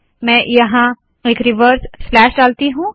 मैं यहाँ एक रिवर्स स्लैश डालती हूँ